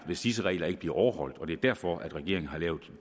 hvis disse regler ikke bliver overholdt og det er derfor regeringen har lavet